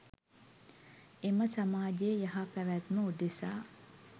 එම සමාජයේ යහ පැවැත්ම උදෙසා